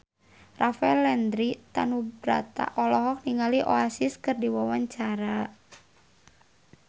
Rafael Landry Tanubrata olohok ningali Oasis keur diwawancara